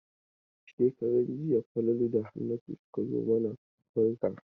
Shekaran jiya Falalu da Hannatu suka zo mana barka.